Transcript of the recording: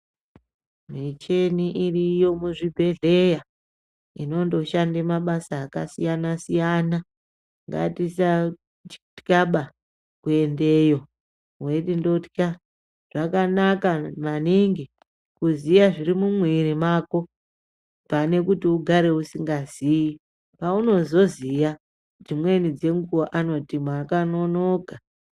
Mucheni iriyo muzvibedhleya inondoshanda mabasa akasiyana siyana. Ngatisatyaba kuendeyo weiti ndotya. Zvakanaka maningi kuziya zviri mumwiri mako pane kuti ugare usingaziyi. Paunozoziya dzimweni dzenguwa vanoti makanonoka.